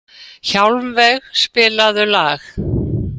Hjálmveig, spilaðu lag.